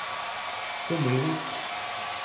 Hommelvik